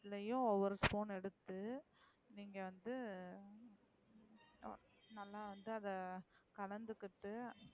ரெண்ட்லையும் ஒவொரு spoon எடுத்து நீங்க வந்து உங்க தலைக்கு தடவனும்,